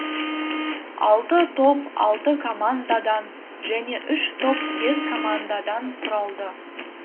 алты топ алты командадан және үш топ бес командадан құралды